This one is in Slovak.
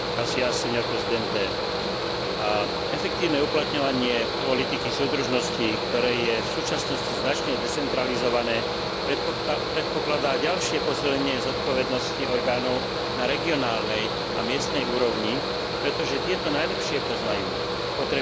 Efektívne uplatňovanie politiky súdržnosti, ktoré je v súčasnosti značne decentralizované, predpokladá ďalšie posilnenie zodpovednosti orgánov na regionálnej a miestnej úrovni, pretože tieto najlepšie poznajú potreby danej oblasti a jej obyvateľstva.